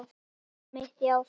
Einmitt það, já.